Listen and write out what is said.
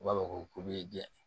U b'a fɔ ko bɛ